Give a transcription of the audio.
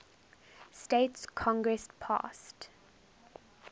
states congress passed